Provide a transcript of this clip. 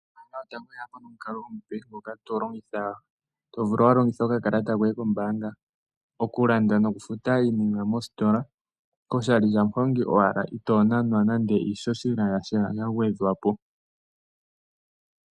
Ombaanga yotango oye ya po nomukalo omupe ngoka to longitha okakalata koye kombaanga oku landa noku futa iinima mositola koshali shamuhongi owala, itoo nanwa nande iihohela yasha ya gwedhwa po.